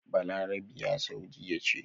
Balarabiya saudiyya ce